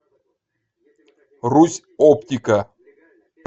русь оптика